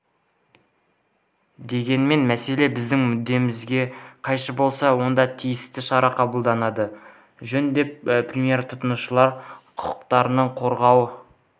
дегенмен мәселе біздің мүддемізге қайшы болса онда тиісті шара қабылданғаны жөн деді премьер тұтынушылар құқықтарын қорғау